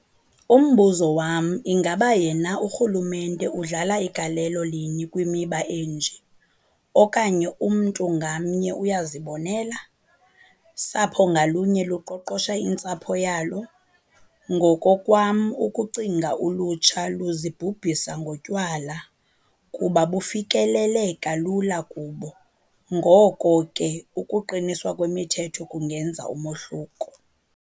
Umbuzo wam ingaba yena urhulumente udlala galelo lini kwimiba enje? okanye umntu ngamnye uyazibonela? sapho ngalunye luqoqosha intsapho yalo?. Ngokokwam ukucinga ulutsha luzibhubhisa ngotywala kuba bufikeleleka lula kubo, ngoko ke ukuqiniswa kwemithetho kungenza umohluko.